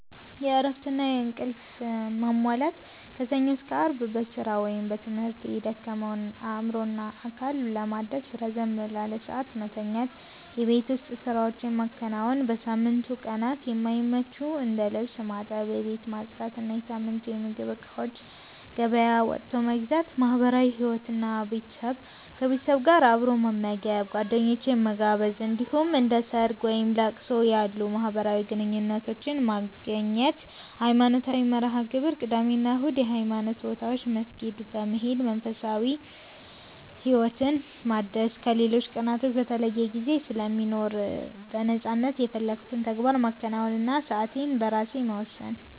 እረፍትና እንቅልፍ ማሟላት፦ ከሰኞ እስከ አርብ በስራ ወይም በትምህርት የደከመውን አእምሮና አካል ለማደስ ረዘም ላለ ሰዓት መተኛት። የቤት ውስጥ ስራዎችን ማከናወን፦ በሳምንቱ ቀናት የማይመቹትን እንደ ልብስ ማጠብ፣ ቤት ማጽዳት እና የሳምንቱን የምግብ እቃዎች ገበያ ወጥቶ መግዛት። ማህበራዊ ህይወት እና ቤተሰብ፦ ከቤተሰብ ጋር አብሮ መመገብ፣ ጓደኞችን መጋበዝ፣ እንዲሁም እንደ ሰርግ፣ ወይም ለቅሶ ያሉ ማህበራዊ ግዴታዎችን መገኘት። ሃይማኖታዊ መርሃ-ግብሮች፦ ቅዳሜ እና እሁድ የሃይማኖት ቦታዎች መስጊድ በመሄድ መንፈሳዊ ህይወትን ማደስ ከሌሎች ቀናቶች በተለይ ጊዜ ስለሚኖር በነፃነት የፈለኩትን ተግባር ማከናወን እና ሰአቴን በራሴ መወሰን።